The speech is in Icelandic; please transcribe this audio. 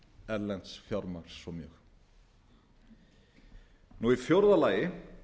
erlends fjármagns svo mjög í fjórða lagi